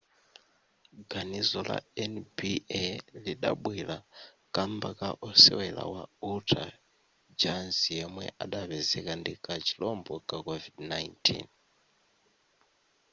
ganizo la nba lidabwera kamba ka osewera wa utah jazz yemwe adapezeka ndi ka chirombo ka covid-19